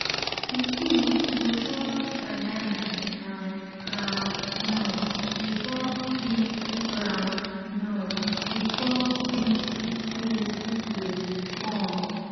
pikin go chop banana and groundnut before big groundnut before big food go come.